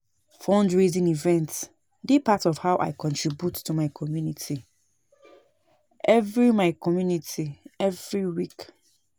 Fundraising events dey part of how I contribute to my community evry my community every week.